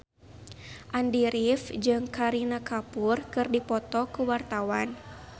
Andy rif jeung Kareena Kapoor keur dipoto ku wartawan